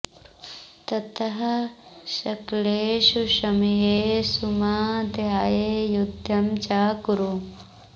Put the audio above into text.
ततः सकलेषु समयेषु मां ध्याय युद्धं च कुरु